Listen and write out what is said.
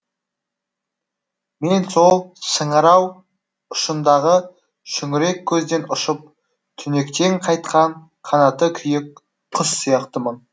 мен сол шыңырау ұшындағы шүңірек көзден ұшып түнектен қайтқан қанаты күйік құс сияқтымын